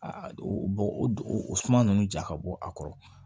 o bɔ o suma ninnu ja ka bɔ a kɔrɔ